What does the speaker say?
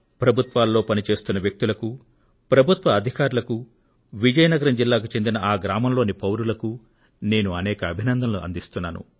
ప్రభుత్వాల్లో పని చేస్తున్న వ్యక్తులకు ప్రభుత్వ అధికారులకు విజయనగరం జిల్లాకు చెందిన ఆ గ్రామంలోని పౌరులకు నేను అనేక అభినందనలు అందిస్తున్నాను